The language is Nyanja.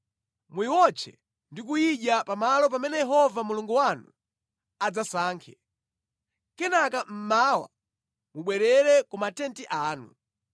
Muyiwotche ndi kuyidya pa malo pamene Yehova Mulungu wanu adzasankhe. Kenaka mmawa mubwerere ku matenti anu.